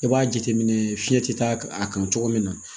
I b'a jateminɛ fiɲɛ tɛ taa a kan cogo min na